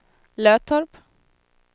Löttorp